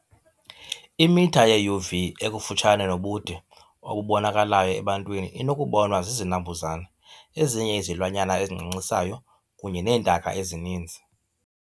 Imitha yeUV ekufutshane nobude obubonakalayo ebantwini inokubonwa zizinambuzane, ezinye izilwanyana ezincancisayo kunye neentaka ezininzi.